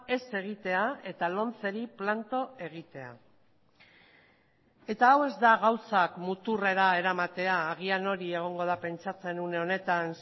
ez egitea eta lomceri planto egitea eta hau ez da gauzak muturrera eramatea agian hori egongo da pentsatzen une honetan